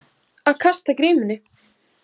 Að kasta grímunni